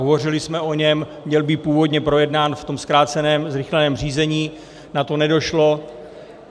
Hovořili jsme o něm, měl být původně projednán v tom zkráceném zrychleném řízení, na to nedošlo.